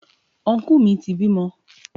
Ọnkú mi ti bímọ.